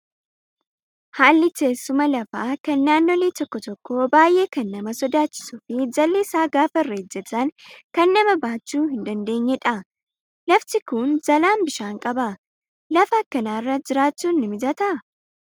Haalli teessuma lafaa kan naannolee tokko tokkoo baay'ee kan nama sodaachisuu fi jalli isaa gaafa irra ejjatan kan nama baachuu hin dandeenyedha. Lafti Kun jalaan bishaan qaba. Lafa akkanaarra jiraachuun ni mijataa?